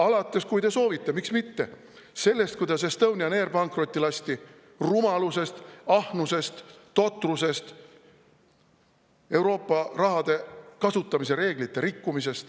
Alates sellest – kui te soovite, miks mitte –, kuidas Estonian Air pankrotti lasti rumalusest, ahnusest, totrusest, Euroopa rahade kasutamise reegleid rikkudes.